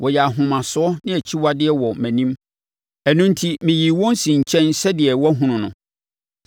Wɔyɛɛ ahomasoɔ ne akyiwadeɛ wɔ mʼanim. Ɛno enti meyii wɔn sii nkyɛn sɛdeɛ woahunu no.